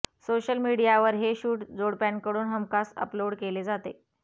social मीडियावर हे shoot जोडप्यांकडून हमखास अपलोड केले जाते